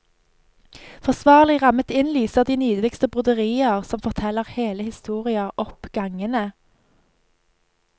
Forsvarlig rammet inn lyser de nydeligste broderier, som forteller hele historier, opp gangene.